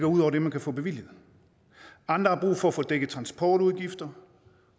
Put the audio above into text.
ud over det man kan få bevilget andre har brug for at få dækket transportudgifter